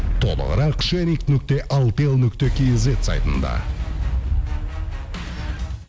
толығырақ шерик нүкте алтел нүкте кейзет сайтында